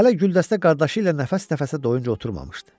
Hələ güldəstə qardaşı ilə nəfəs-nəfəsə doyunca oturmamışdı.